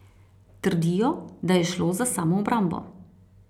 Trdijo, da je šlo za samoobrambo.